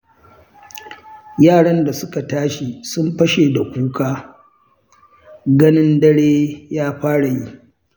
Yaran da suka tashi sun fashe da kuka, ganin dare ya fara yi.